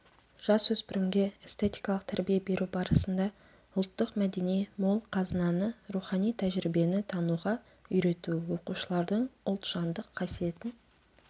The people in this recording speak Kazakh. жасөспірімге эстетикалық тәрбие беру барысында ұлттық мәдени мол қазынаны рухани тәжірибені тануға үйрету оқушылардың ұлтжандық қасиетін